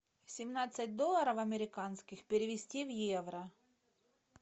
семнадцать долларов американских перевести в евро